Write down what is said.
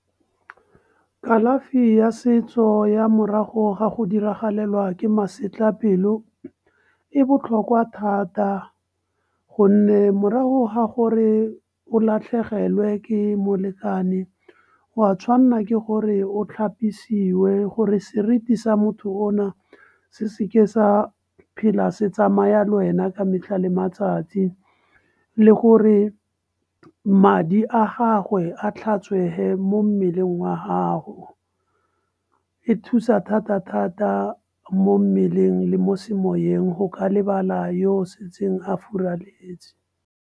Kalafi ya setso ya morago ga go diragalelwa ke masetlapelo e botlhokwa thata. Gonne morago ga gore o latlhegelwe ke molekane, o a tshwanna ke gore o tlhapisiwe, gore seriti sa motho ona, se seke sa phela se tsamaya le wena ka metlha le matsatsi. Le gore madi a gagwe a tlhatswehe mo mmeleng wa gago. E thusa thata-thata mo mmeleng le mo semoyeng go ka lebala yo o setseng a furaletse.